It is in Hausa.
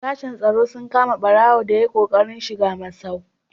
Sashen tsaro sun kama ɓarago da ya yi ƙoƙarin shiga masau.